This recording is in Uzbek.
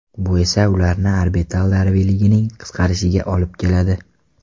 Bu esa ularning orbital davriyligining qisqarishiga olib keladi.